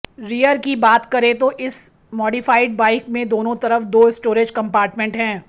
rear की बात करें तो इस मॉडिफाइड बाइक में दोनों तरफ दो स्टोरेज कम्पार्टमेंट हैं